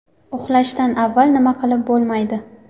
Uxlashdan avval nima qilib bo‘lmaydi?.